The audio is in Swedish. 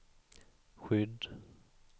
skydd